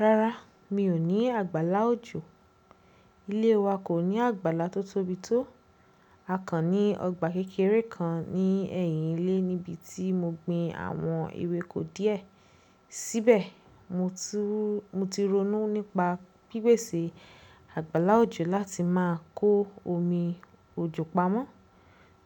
Rárá, mi ò ní àgbàlá òjò. Ilé wa kò ní àgbàlá tó tóbi tó. A kan ní ọgbà kékeré kan ní ẹ̀yìn ilé níbi tí mo gbin àwọn ewéko díẹ̀. Síbẹ̀ mo ti ronú nípa pípèsè àgbàlá òjò láti máa kó omi òjò pamọ́